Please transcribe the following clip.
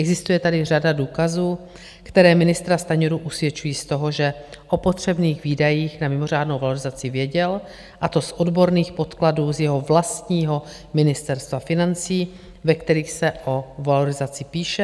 Existuje tady řada důkazů, které ministra Stanjuru usvědčují z toho, že o potřebných výdajích na mimořádnou valorizaci věděl, a to z odborných podkladů z jeho vlastního Ministerstva financí, ve kterých se o valorizaci píše.